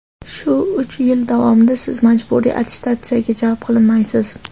Shu uch yil davomida Siz majburiy attestatsiyaga jalb qilinmaysiz.